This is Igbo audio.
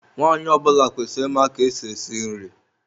Nwaanyị ọ bụla kwesịrị ịma ka esi esi nri.